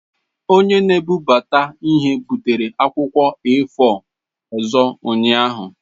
Onye na-ebubata ihe butere akwụkwọ A4 ọzọ ụnyaahụ.